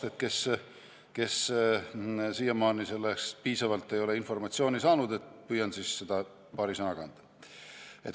Püüan neile, kes siiamaani ei ole selle kohta piisavalt informatsiooni saanud, seda paari sõnaga anda.